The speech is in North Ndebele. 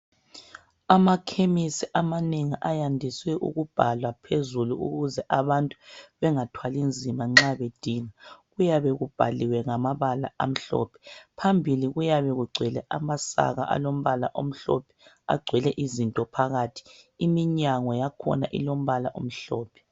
Amakhemisi amanengi ayandiswe ukubhalwa phezulu ukuze abantu bengathwali nzima nxa bedinga . Kuyabe kubhaliwe ngamabala amhlophe. Phambili kuyabe kugcwele amasaka alombala omhlophe agcwele izinto phakathi. Iminyango yakhona ilombala omhlophe.